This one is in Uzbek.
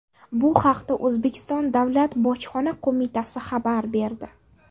Bu haqda O‘zbekiston Davlat bojxona qo‘mitasi xabar berdi .